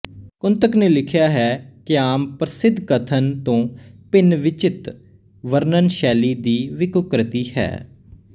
ਕੁੰਤਕ ਨੇ ਲਿਖਿਆ ਹੈ ਕਿਆਮ ਪਰਸਿੱਧ ਕਥਨ ਤੋਂ ਭਿੰਨ ਵਿਚਿਤ੍ ਵਰਣਨ ਸ਼ੈਲੀ ਹੀ ਵਿਕ੍ਰੋਕਤੀ ਹੈ